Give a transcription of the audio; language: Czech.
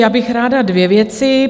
Já bych ráda dvě věci.